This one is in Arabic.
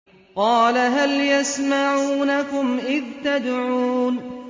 قَالَ هَلْ يَسْمَعُونَكُمْ إِذْ تَدْعُونَ